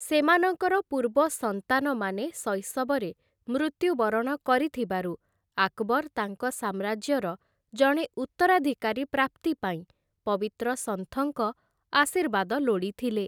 ସେମାନଙ୍କର ପୂର୍ବ ସନ୍ତାନମାନେ ଶୈଶବରେ ମୃତ୍ୟୁବରଣ କରିଥିବାରୁ ଆକବର୍‌ ତାଙ୍କ ସାମ୍ରାଜ୍ୟର ଜଣେ ଉତ୍ତରାଧିକାରୀ ପ୍ରାପ୍ତି ପାଇଁ ପବିତ୍ର ସନ୍ଥଙ୍କ ଆଶୀର୍ବାଦ ଲୋଡ଼ିଥିଲେ ।